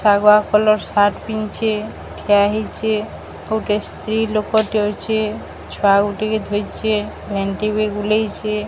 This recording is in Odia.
ଶାଗୁଆ କଲର୍ ସାଟ୍ ପିନ୍ଧିଚି। ଠିଆ ହେଇଚି ଆଉ ଗୋଟେ ସ୍ତ୍ରୀ ଲୋକଟେ ଅଛି। ଛୁଆ ଗୁଟେ ଧରିଚି ମେହେନ୍ଦି ବି ବୁଲେଇଚି।